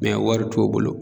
wari t'u bolo.